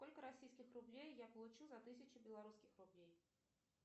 сколько российских рублей я получу за тысячу белорусских рублей